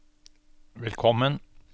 velkommen